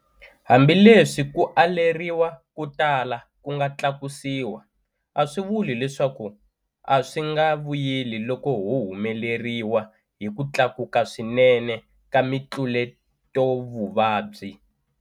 Hambileswi ku aleriwa ko tala ku nga tlakusiwa, a swi vuli leswaku a swi nga vuyeli loko ho humeleriwa hi ku tlakuka swinene ka mitluletovuvabyi.